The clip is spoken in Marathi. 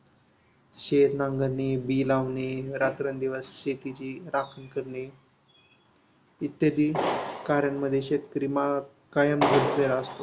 शेत नांगरणी, बी लावणे, रात्रंदिवस शेतीची राखण करणे, इत्यादी कार्यांमध्ये शेतकरी कायम गुंतलेला असतो.